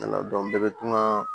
bɛɛ bɛ kuma